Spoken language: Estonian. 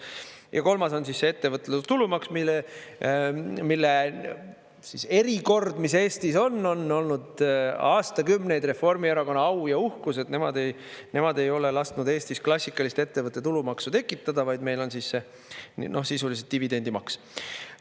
Ja kolmas on siis ettevõtlustulumaks, mille siis erikord, mis Eestis on, on olnud aastakümneid Reformierakonna au ja uhkus, et nemad ei ole lasknud Eestis klassikalist ettevõtte tulumaksu tekitada, vaid meil on sisuliselt dividendimaks.